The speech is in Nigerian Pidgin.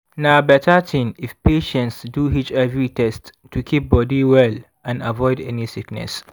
na better thing if patients do hiv test to keep body well and avoid any sickness.